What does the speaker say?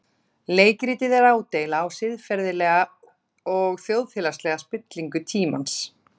Leikritið er ádeila á siðferðilega og þjóðfélagslega spillingu tímans.